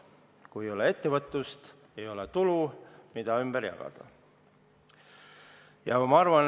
Kui ei ole ettevõtlust, ei ole tulu, mida ümber jagada.